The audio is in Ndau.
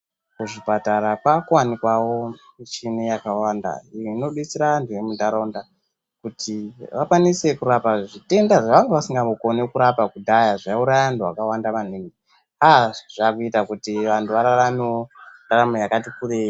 Pazvipatara paakuwanikwawo michini yakawanda, iyo inodetsera anhu emuntaraunda, kuti vakwanise kurapa, zvitenda zvavanga vasingakoni kurapa kudhaya ,zvaiuraya anhu akawanda maningi. Aaa zvaakuita kuti antu araramewo ndaramo yakati kurei.